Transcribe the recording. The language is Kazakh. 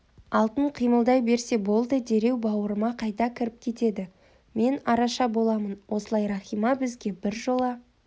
алтын қимылдай берсе болды дереу бауырыма қайта кіріп кетеді мен араша боламын осылай рахима бізге біржола